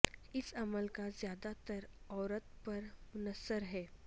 اس عمل کا زیادہ تر عورت پر منحصر ہے